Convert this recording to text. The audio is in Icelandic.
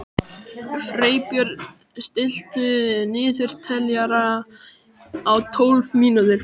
Freybjörn, stilltu niðurteljara á tólf mínútur.